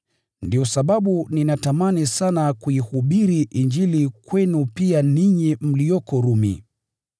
Ndiyo sababu ninatamani sana kuihubiri Injili kwenu pia ninyi mlioko Rumi.